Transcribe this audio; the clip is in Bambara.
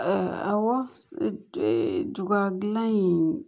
awɔ gilan in